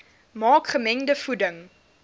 maak gemengde voeding